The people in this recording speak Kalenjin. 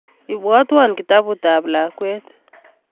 Ibwotwon kitabut tab lakwet